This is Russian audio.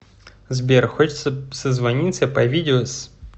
сбер хочется созвониться по видео с